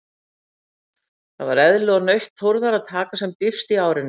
Það var eðli og nautn Þórðar að taka sem dýpst í árinni.